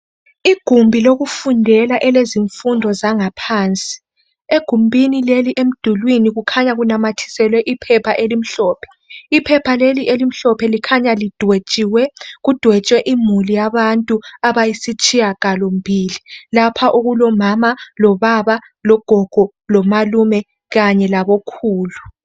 Igumbi lokufundela elezifundo zangaphansi egumbini leli emdulini kukhanya kunamathiselwe iphepha elimhlophe iphepha leli elimhlophe likhanya lidwetshiwe kudwetshwe imuli yabantwana abayisitshiyagalo mbili lapha okulomama lobaba logogo lomalume kanye labokhulu